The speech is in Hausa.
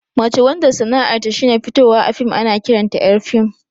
Mace wanda sana'ar ta shine fitowa a fim ana ƙiranta ƴar fim